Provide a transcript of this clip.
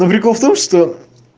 ну прикол в том что